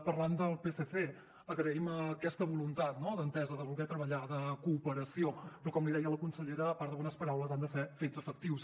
parlant del psc agraïm aquesta voluntat no d’entesa de voler treballar de cooperació però com li deia la consellera a part de bones paraules han de ser fets efectius